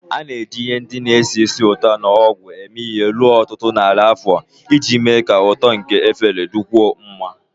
A na-eji ihe ndị na-esi ísì ụtọ na ogwu eme ihe ruo ọtụtụ narị afọ iji mee ka ụtọ nke efere dịkwuo mma